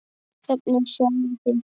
Hvernig sjáið þið þetta?